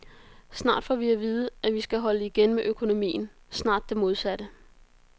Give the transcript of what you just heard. Snart får vi at vide, at vi skal holde igen med økonomien, snart det modsatte.